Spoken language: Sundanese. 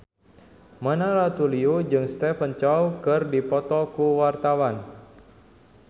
Mona Ratuliu jeung Stephen Chow keur dipoto ku wartawan